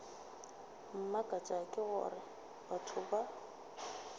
mmakatša ke gore batho ba